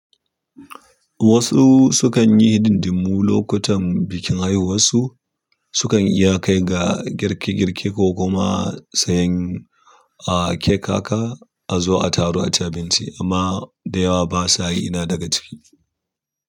Wasu sukan yi hidindimmu lokutan bikin haihuwar su, sukan iya kai ga girke-girke ko kuma sayen, ah, cake haka a zo a taru a ci abinci, amma da yawa basa yi ina daga ciki.